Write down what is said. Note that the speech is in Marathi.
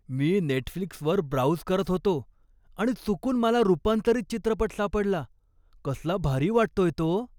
मी नेटफ्लिक्सवर ब्राउझ करत होतो आणि चुकून मला रुपांतरीत चित्रपट सापडला. कसला भारी वाटतोय तो!